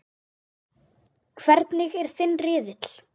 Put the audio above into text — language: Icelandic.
Hvernig er þinn riðill?